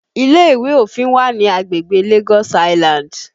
Ile ìwé òfin wà ní agbègbè Lagos Island